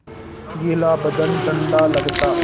गीला बदन ठंडा लगता